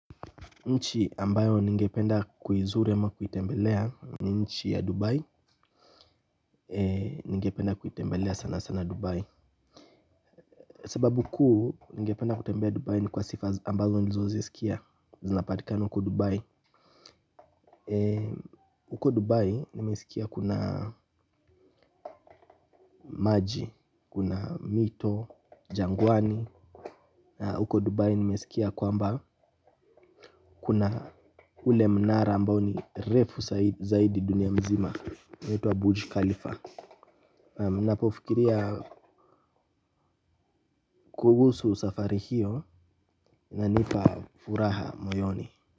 Nchi ambayo ningependa kuizuru ama kuitembelea ni nchi ya Dubai. Ningependa kuitembelea sana sana Dubai. Sababu kuu ningependa kutembea Dubai ni kwa sifa ambazo nilizozisikia zinapatika huko dubai. Uko Dubai nimesikia kuna maji, kuna mito, jangwani huko Dubai nimesikia kwamba kuna ule mnara ambao ni refu zaidi dunia mzima inaitwa Abuji Khalifa ninapofikiria kuhusu safari hio inanipa furaha moyoni.